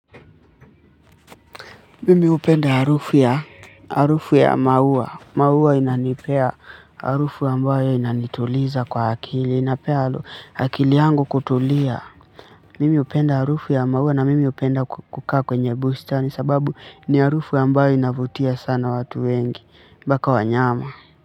Mimi hupenda harufu ya, harufu ya maua, maua inanipa harufu ambayo inanituliza kwa akili, inanipa akili yangu kutulia. Mimi hupenda harufu ya maua na mimi hupenda kukaa kwenye bustani kwa sababu ni harufu ambayo inavutia sana watu wengi, mpaka wanyama.